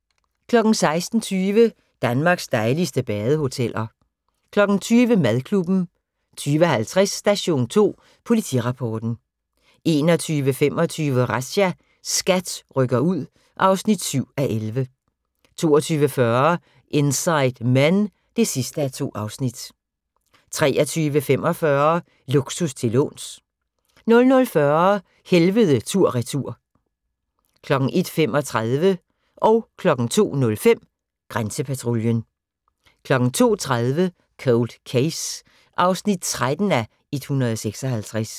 16:20: Danmarks dejligste badehoteller 20:00: Madklubben 20:50: Station 2 Politirapporten 21:25: Razzia – SKAT rykker ud (7:11) 22:40: Inside Men (2:2) 23:45: Luksus til låns 00:40: Helvede tur/retur 01:35: Grænsepatruljen 02:05: Grænsepatruljen 02:30: Cold Case (13:156)